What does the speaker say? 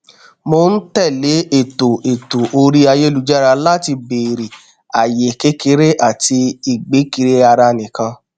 mò n tẹlé ètò ètò orí ayélujára láti bèrè ààyè kékeré àti ìgbé kiri ara nìkan